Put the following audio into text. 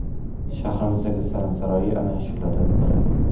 Shahrimizdagi san’at saroyi ana shulardan biri.